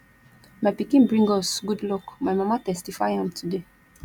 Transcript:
my pikin bring us good luck my mama testify am today